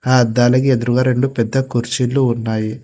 ఆ అద్దాల ఎదురుగా రెండు పెద్ద కుర్చీలు ఉన్నాయి.